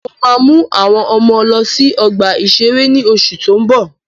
Mo ma mú àwọn ọmọ lọ sí ọgbà-ìṣeré ní oṣù tó ń bọ̀